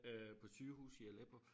Øh på sygehuse i Aleppo